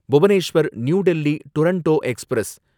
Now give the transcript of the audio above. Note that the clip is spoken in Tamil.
Bhubaneswar new Delhi Duronto express